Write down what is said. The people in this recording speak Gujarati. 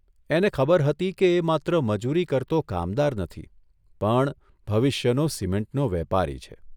એને ખબર હતી કે એ માત્ર મજૂરી કરતો કામદાર નથી, પણ ભવિષ્યનો સિમેન્ટનો વેપારી છે.